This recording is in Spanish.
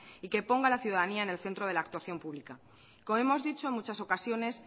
y que ponga a la ciudadanía en el centro de la actuación pública como hemos dicho en muchas ocasiones